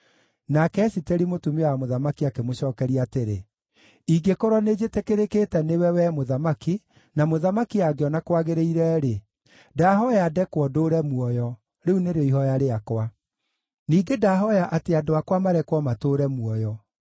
Nake Esiteri mũtumia wa mũthamaki akĩmũcookeria atĩrĩ, “Ingĩkorwo nĩnjĩtĩkĩrĩkĩte nĩwe, wee mũthamaki, na mũthamaki angĩona kwagĩrĩire-rĩ, ndahooya ndekwo ndũũre muoyo, rĩu nĩrĩo ihooya rĩakwa. Ningĩ ndahooya atĩ andũ akwa marekwo matũũre muoyo.